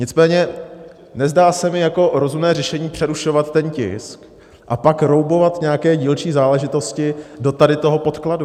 Nicméně nezdá se mi jako rozumné řešení přerušovat ten tisk a pak roubovat nějaké dílčí záležitosti tady do toho podkladu.